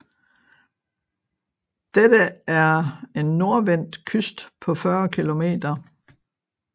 Dette er en nordvendt kyst på 40 kilometer